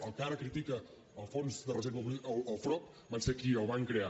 el que ara critica el frob van ser qui el va crear